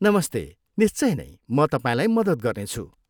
नमस्ते, निश्चय नै, म तपाईँलाई मद्दत गर्नेछु।